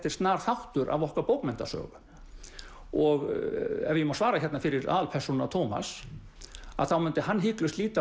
er snar þáttur af okkar bókmenntasögu og ef ég má svara hérna fyrir aðalpersónuna Tómas að þá myndi hann hiklaust líta